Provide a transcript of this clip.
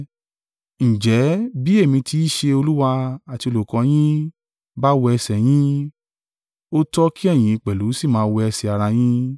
Ǹjẹ́ bí èmi tí í ṣe Olúwa àti olùkọ́ yín bá wẹ ẹsẹ̀ yín, ó tọ́ kí ẹ̀yin pẹ̀lú sì máa wẹ ẹsẹ̀ ara yín.